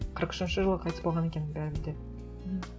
қырық үшінші жылы қайтыс болған екен бәрібір де мхм